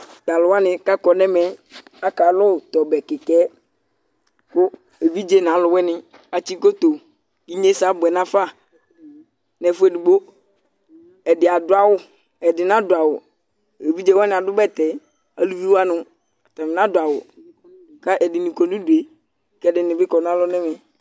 Tʋ alʋ wanɩ kʋ akɔ nʋ ɛmɛ yɛ akalʋ tʋ ɔbɛ kɩka yɛ kʋ evidze nʋ alʋwɩnɩ atsɩ koto kʋ inyesɛ abʋɛ nafa nʋ ɛfʋ edigbo Ɛdɩ adʋ awʋ, ɛdɩ nadʋ awʋ Evidze wanɩ adʋ bɛtɛ, aluvi wanɩ, atanɩ nadʋ awʋ kʋ ɛdɩnɩ kɔ nʋ udu yɛ kʋ ɛdɩnɩ bɩ kɔ nʋ alɔ nʋ ɛmɛ